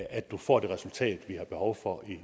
at vi får det resultat vi har behov for